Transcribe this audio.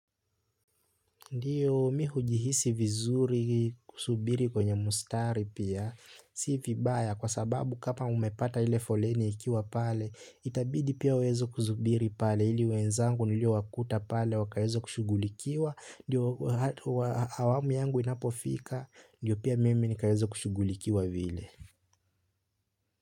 Ndiyo mi hujihisi vizuri kusubiri kwenye mstari pia, si vibaya kwa sababu kapa umepata ile foleni ikiwa pale, itabidi pia uweze kusubiri pale, ili wenzangu niliowakuta pale, wakaweze kushugulikiwa, ndiyo awamu yangu inapofika, ndiyo pia mimi nikaweze kushugulikiwa vile.